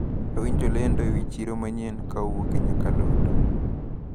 Nawinjo lendo ewi chiro manyien kowuok e nyakalondo.